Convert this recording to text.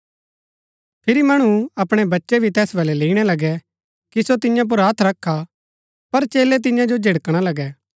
फिरी मणु अपणै बच्चै भी तैस वलै लैईणा लगै कि सो तियां पुर हत्थ रखा पर चेलै तियां जो झिड़कणा लगै